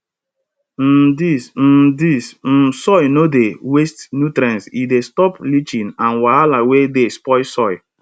um dis um dis um soil no dey waste nutrients e dey stop leaching and wahala wey dey spoil soil